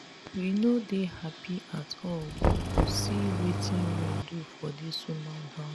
we no dey happy at all see wetin rain do for dis woman house.